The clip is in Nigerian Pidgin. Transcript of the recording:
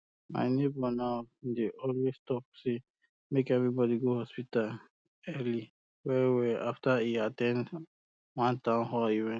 my neighbor now dey always talk um say make everybody go hospital early well well after e at ten d one town hall event